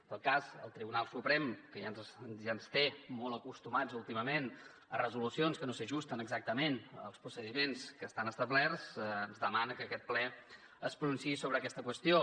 en tot cas el tribunal suprem que ja ens té molt acostumats últimament a resolucions que no s’ajusten exactament als procediments que estan establerts ens demana que aquest ple es pronunciï sobre aquesta qüestió